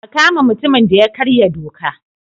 A kama mutumin da ya karya doka.